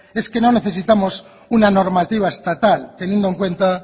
es que no necesitamos una normativa estatal teniendo en cuenta